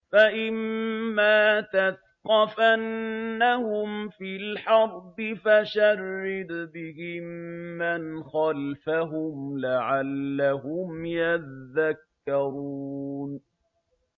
فَإِمَّا تَثْقَفَنَّهُمْ فِي الْحَرْبِ فَشَرِّدْ بِهِم مَّنْ خَلْفَهُمْ لَعَلَّهُمْ يَذَّكَّرُونَ